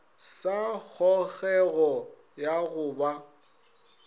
sa kgogego ya go ba